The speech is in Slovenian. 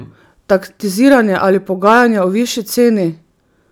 Taktiziranje ali pogajanja o višji ceni?